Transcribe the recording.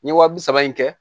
N ye wa bi saba in kɛ